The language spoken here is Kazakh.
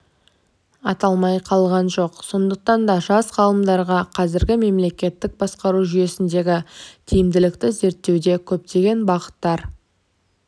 аталмай қалған жоқ сондықтан да жас ғалымдарға қазіргі мемлекеттік басқару жүйесіндегі тиімділікті зерттеуде көптеген бағыттар